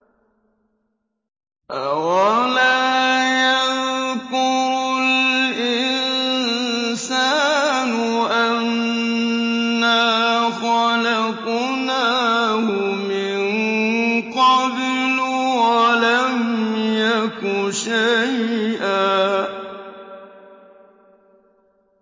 أَوَلَا يَذْكُرُ الْإِنسَانُ أَنَّا خَلَقْنَاهُ مِن قَبْلُ وَلَمْ يَكُ شَيْئًا